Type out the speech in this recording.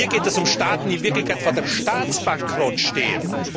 Hier geht es um Staaten, die in Wirklichkeit vor dem Staatsbankrott stehen.